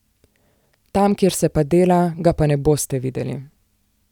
Tam, kjer se pa dela, ga pa ne boste videli!